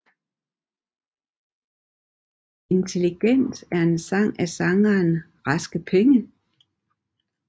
Intelligent er en sang af sangeren Raske Penge